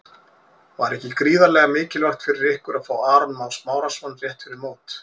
Var ekki gríðarlega mikilvægt fyrir ykkur að fá Aron Má Smárason rétt fyrir mót?